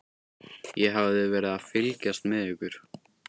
Ég hafði verið að fylgjast með ykkur.